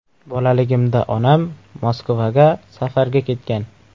Bolaligimda onam Moskvaga safarga ketgan.